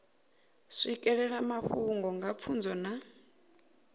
swikelela mafhungo nga pfunzo na